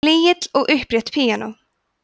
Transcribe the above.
flygill og upprétt píanó